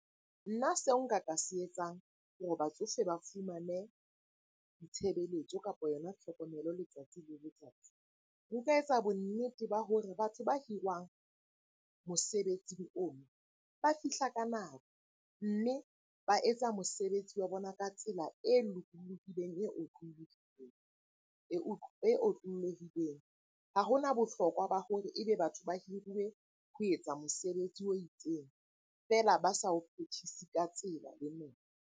Nna seo nka ka se etsang hore batsofe ba fumane ditshebeletso, kapo yona tlhokomelo letsatsi le letsatsi. Nka etsa bonnete ba hore batho ba hiriwang mosebetsing oo ba fihla ka nako, mme ba etsa mosebetsi wa bona ka tsela e lokolohileng, e otlolohileng. Ha hona bohlokwa ba hore e be batho ba hiruwe ho etsa mosebetsi o itseng feela ba sa o phethise ka tsela le .